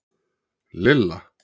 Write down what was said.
Lilla